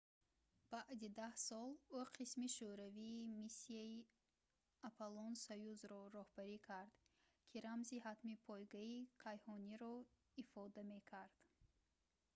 баъди даҳ сол ӯ қисми шӯравии миссияи аполлон-союз"‑ро роҳбарӣ кард ки рамзи хатми пойгаи кайҳониро ифода мекард